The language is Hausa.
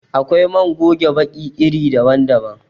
Akwai man goge baki iri daban daban.